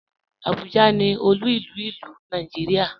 Abuja ni òlu ilú ilu Nàìjíríà.